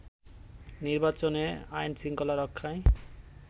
নির্বাচনে আইন-শৃঙ্খলা রক্ষায়